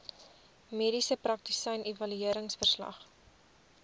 mediese praktisyn evalueringsverslag